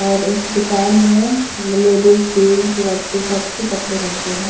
और इस दुकान में लेडीज जेन्ट्स बच्चे सब के कपड़े मिलते हैं।